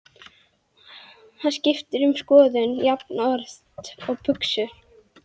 Hann skiptir um skoðun jafnoft og buxur.